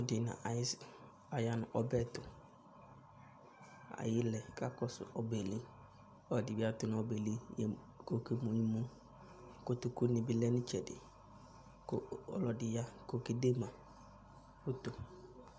Ɔlɔdi na ayisɩ ayanu ɔbɛtu, ayilɛ kakɔsu obɛli Ɔlɔdi biatunu ɔbɛli kɔ ɔké mu imu Kotoku ni bi lɛnu itchɛdi, ku ɔlɔdi ya kɔ ɔkédema foto